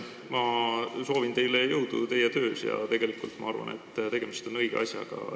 Ma soovin teile jõudu teie töös ja ma arvan, et tegemist on õige asjaga.